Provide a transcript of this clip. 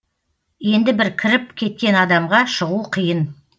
енді бір кіріп кеткен адамға шығу қиын